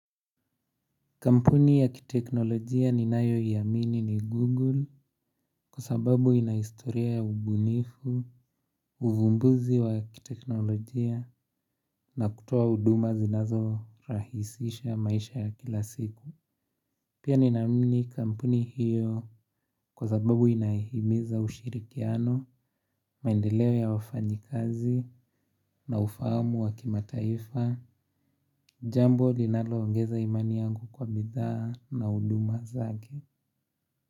Kampuni ya kiteknolojia ninayoamini ni Google kwa sababu ina historia ya ubunifu, uvumbuzi wa kiteknolojia na kutoa huduma zinazorahisisha maisha ya kila siku. Pia ni namini kampuni hiyo kwa sababu inahimiza ushirikiano, maendeleo ya wafanykazi na ufahamu wa kimataifa, jambo linaloongeza imani yangu kwa bidhaa na huduma zake.